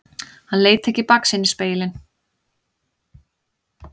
Hann leit ekki í baksýnisspegilinn.